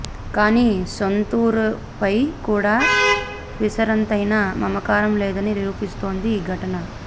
కానీ సొంతూరిపై కూడా పిసరంతైనా మమకారం లేదని నిరూపిస్తోంది ఈ ఘటన